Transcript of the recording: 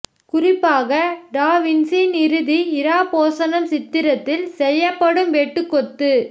குறிப்பாக டா வின்சியின் இறுதி இராப்போசனம் சித்திரத்தில் செய்யப்படும் வெட்டுக் கொத்து